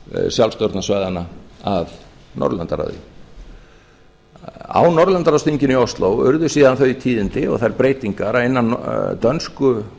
sjálfsstjórnarsvæðanna að norðurlandaráði á norðurlandaráðsþinginu í ósló urðu síðan þau tíðindi og þær breytingar að innan dönsku